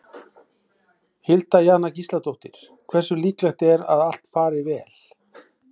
Hilda Jana Gísladóttir: Hversu líklegt er að allt fari vel?